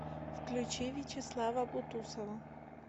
включи вячеслава бутусова